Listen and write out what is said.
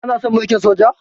Kana son mulkin Soja?